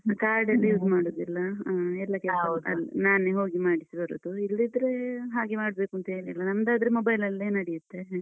Card ಎಲ್ಲ use ಮಾಡುದಿಲ್ಲ ಆ ಎಲ್ಲಾ ಕೆಲ್ಸ ನಾನೇ ಹೋಗಿ ಮಾಡ್ಸಿ ಬರೋದು ಇಲ್ದಿದ್ರೆ ಹಾಗೆ ಮಾಡ್ಬೇಕೂಂತೇನಿಲ್ಲ. ನಮ್ದ್ ಆದ್ರೆ mobile ಅಲ್ಲೇ ನಡ್ಯುತ್ತೆ.